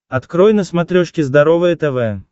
открой на смотрешке здоровое тв